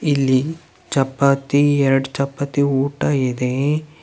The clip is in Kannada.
ಇಲ್ಲಿ ಚಪಾತಿ ಎರಡ್ ಚಪಾತಿ ಊಟ ಇದೆ.